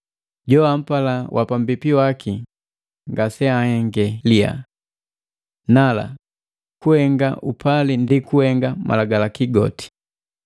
Joampala wapambipi waki ngase anhenge lihaa. Nala kuhenga upali ndi kuhenga Malagalaki goti.